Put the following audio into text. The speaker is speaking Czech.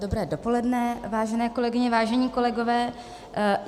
Dobré dopoledne, vážené kolegyně, vážení kolegové.